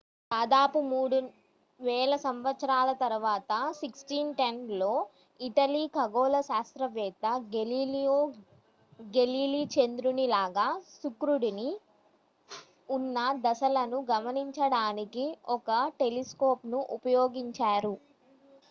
దాదాపు మూడు వేల సంవత్సరాల తరువాత 1610లో ఇటలీ ఖగోళ శాస్త్రవేత్త గెలీలియో గెలీలీ చంద్రుని లాగా శుక్రుడికి ఉన్న దశలను గమనించడానికి ఒక టెలిస్కోప్ ను ఉపయోగించారు